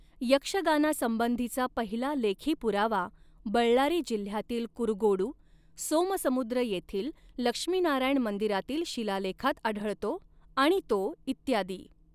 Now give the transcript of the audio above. यक्षगानासंबंधीचा पहिला लेखी पुरावा बळ्ळारी जिल्ह्यातील कुरुगोडू, सोमसमुद्र येथील लक्ष्मीनारायण मंदिरातील शीलालेखात आढळतो आणि तो इत्यादी.